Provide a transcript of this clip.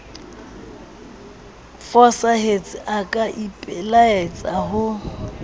fosahetse a ka ipelaetsa ho